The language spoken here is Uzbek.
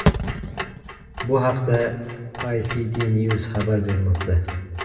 Bu haqda Ictnews xabar bermoqda .